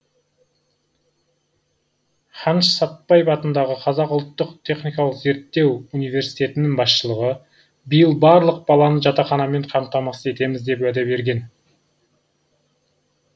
қаныш сәтбаев атындағы қазақ ұлттық техникалық зерттеу университетінің басшылығы биыл барлық баланы жатақханамен қамтамасыз етеміз деп уәде берген